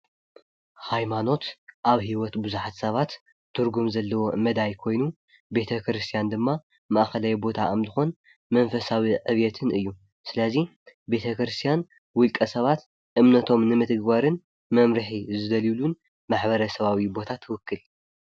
ሃይማኖት ኣብ ህይወት ብዙሓት ሰባት ትርጉም ዘለዎም መዳይ ኮይኑ ቤተ ክርስትያን ድማ ማእኸላይ ቦታ ኣምልኾን መንፈሳዊ ዕብየትን እዩ፡፡ ስለ እዚ ቤተ ክርስቲያን ውልቀ ሰባት እምነቶም ንምትግባርን መምርሒ ዝደልዩሉን ማሕበረሰባዊ ቦታ ትውክል፡፡